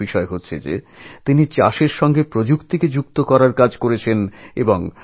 আসল কথা এই যে তিনি চাষবাসের সঙ্গে কারিগরি বিদ্যা প্রয়োগের কাজটিও করেছেন